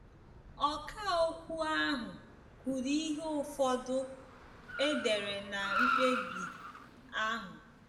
Ọkà okwu ahụ kwuru ihe ụfọdụ e dere ná mkpebi ahụ.